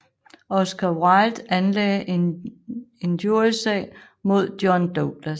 Oscar Wilde anlagde injriesag mod John Douglas